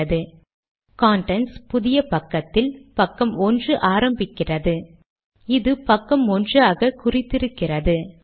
அது அவுட்புட் பைலின் மேல் இடது புற மூலையில் தென்படும்